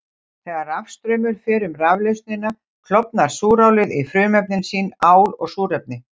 Þegar rafstraumur fer um raflausnina klofnar súrálið í frumefni sín, ál og súrefni.